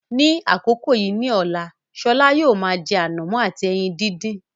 Ní àkókò yìí ní ọ̀la, Shola yóò máa jẹ ànàmọ́ àti ẹyin dídì.